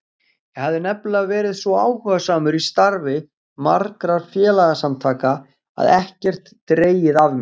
Ég hafði nefnilega verið svo áhugasamur í starfi margra félagasamtaka og ekkert dregið af mér.